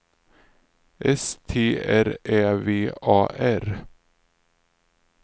S T R Ä V A R